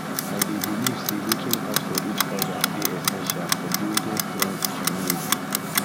i dey believe say looking out for each other dey essential for building strong community